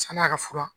San'a ka fura